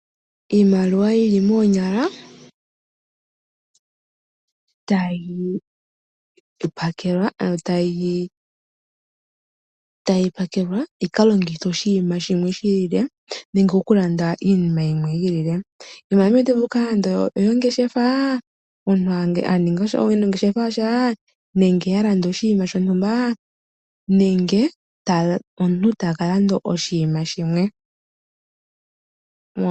Iimaliwa yili monyala tayi pakelwa yika longithwe oshima shimwe shilile nenge oku landa iinima yimwe yilile, iimaliwa otayi vulu oku kala nande oyongeshefa omuntu aninga ongeshefa yasha nenge yalanda oshiima shontumba nenge omuntu takalanda oshiima shimwe.